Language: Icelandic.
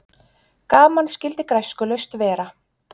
Gaman skyldi græskulaust vera.